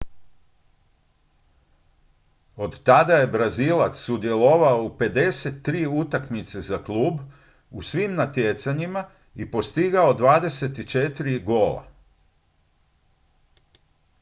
od tada je brazilac sudjelovao u 53 utakmice za klub u svim natjecanjima i postigao 24 gola